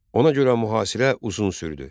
Ona görə mühasirə uzun sürdü.